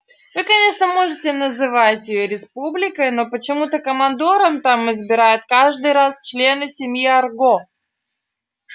вы конечно можете называть её республикой но почему-то командором там избирают каждый раз члена семьи арго